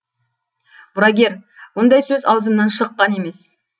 мұрагер ондай сөз аузымнан шыққан емес